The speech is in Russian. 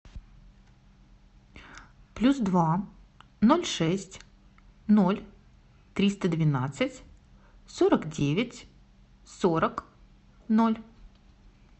плюс два ноль шесть ноль триста двенадцать сорок девять сорок ноль